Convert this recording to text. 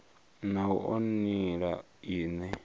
na u oa nila ine